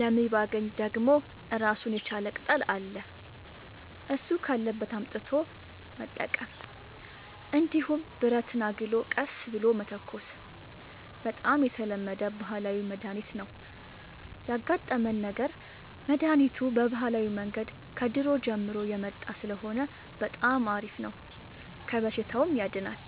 ለሞይባገኝ ደግሞ እራሱን የቻለ ቅጠል አለ እሱ ካለበት አምጥቶ መጠቀም እንዲሁም ብረትን አግሎ ቀስ ብሎ መተኮስ በጣም የተለመደ ባህላዊ መድሀኒት ነው ያጋጠመን ነገር መድሀኒቱ በባህላዊ መንገድ ከድሮ ጀምሮ የመጣ ስለሆነ በጣም አሪፍ ነው ከበሽታውም ያድናል።